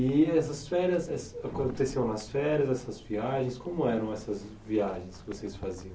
E essas férias, essas aconteciam nas férias, essas viagens, como eram essas viagens que vocês faziam?